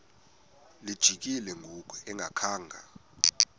lijikile ngoku engakhanga